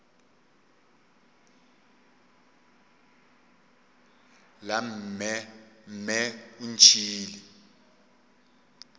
la mme mme o ntšhiile